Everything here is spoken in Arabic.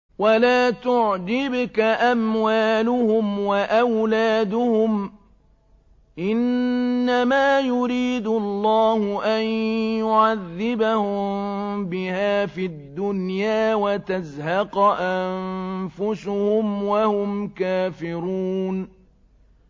وَلَا تُعْجِبْكَ أَمْوَالُهُمْ وَأَوْلَادُهُمْ ۚ إِنَّمَا يُرِيدُ اللَّهُ أَن يُعَذِّبَهُم بِهَا فِي الدُّنْيَا وَتَزْهَقَ أَنفُسُهُمْ وَهُمْ كَافِرُونَ